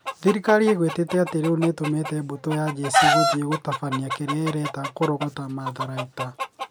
Thirikari ĩgwetete atĩ rĩu nĩ ĩtũmĩte mbũtũ ya njeci gũthiĩ gũtabania kĩrĩa ĩreta kũrogota matharaita